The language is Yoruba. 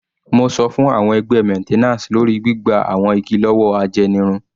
Mo sọ fún àwọn ẹgbẹ́ maintenance lórí gbígba àwọn igi lọ́wọ́ ajẹnirun.